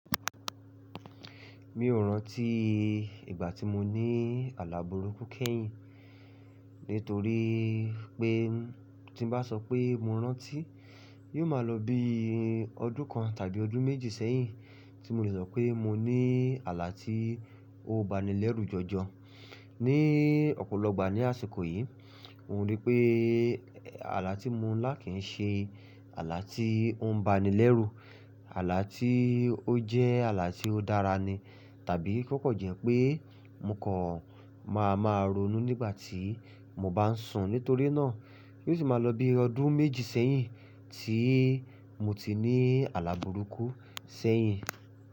Mi ò rántí ìgbà tí mo ní àlà bùrúkú kẹ́yìn, nítorí pé tí n bá sọ pé mo rántí, yóò máa lọ bí ọdún kan tàbí ọdún méjì sẹ́yìn tí mo lè sọ pé mo ní àlà tí ó ba ni lẹ́rù jọjọ. Ní ọ̀pọ̀lọpọ̀ ìgbà ní àsìkò yìí, n o rí i pé àlà tí mo ń lá kì ń ṣe àlà tí ó ń ba ni lẹ́rù. Àlà tí ó jẹ́ àlà tí ó dára ni, tàbí kó kan jẹ́ pé mo kọ̀ máa máa ronú nígbà tí mo bá ń sùn. Nítorí náà, yóò sì máa lọ bí ọdún méjì sẹ́yìn tí mo ti ní àlàbùrúkú sẹ́yìn.